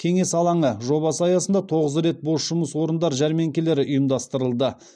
кеңес алаңы жобасы аясында тоғыз рет бос жұмыс орындар жәрмеңкелері ұйымдастырылды